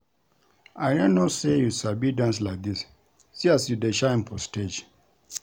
I no know say you sabi dance like dis see as you dey shine for stage